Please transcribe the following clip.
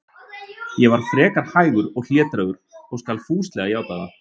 Ég var frekar hægur og hlédrægur, ég skal fúslega játa það.